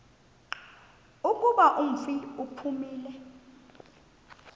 kuba umfi uphumile